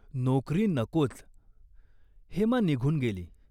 नोकरी नकोच." हेमा निघून गेली.